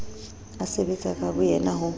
a sebetsa ka boyena ho